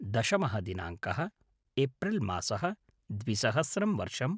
दशमः दिनाङ्कः - एप्रिल् मासः - द्विसहस्रं वर्षम्